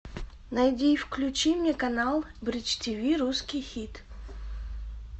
найди и включи мне канал бридж тв русский хит